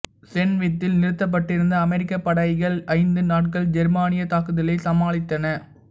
சென் வித்தில் நிறுத்தப்பட்டிருந்த அமெரிக்கப் படைகள் ஐந்து நாட்கள் ஜெர்மானியத் தாக்குதலை சமாளித்தன